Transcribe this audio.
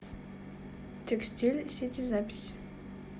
текстиль сити запись